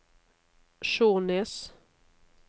Skjånes